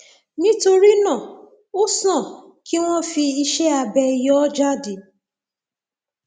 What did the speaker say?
nítorí náà ó sàn kí wọn fi iṣẹ abẹ yọ ọ jáde